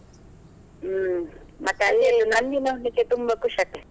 ಹ್ಮ್, ಮತ್ತೆ ನಂದಿ ನೋಡ್ಲಿಕ್ಕೆ ತುಂಬಾ ಖುಷಿ ಆಗ್ತದೆ.